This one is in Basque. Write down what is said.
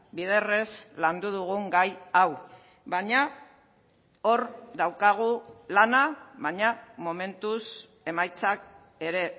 biderrez landu dugun gai hau baina hor daukagu lana baina momentuz emaitzak ere